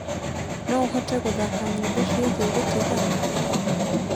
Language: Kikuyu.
no ũhote gũthaka nyĩmbo ciĩgie gutigana